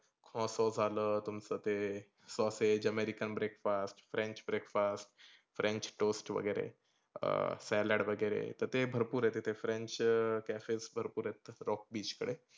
smoso झालं तुमच ते sosage american breakfast, french breakfast french toast वगैरे अं salad वगैरे, तर ते भरपुर आहे तीथे french cafes भरपुर आहेत. rock beach कडे.